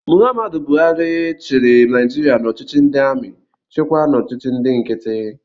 M. Buhari chịrị Naijiria n'ọchịchị ndị amị, chịkwaa n'ọchịchị ndị nkiti